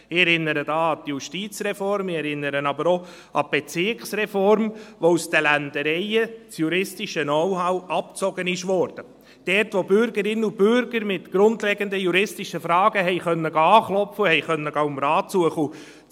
Ich erinnere da an die Justizreform, ich erinnere aber auch an die Bezirksreform, bei der das juristische Know-how aus den «Ländereien» abgezogen wurde, dort, wo Bürgerinnen und Bürger mit grundlegenden juristischen Fragen anklopfen und Rat suchen konnten.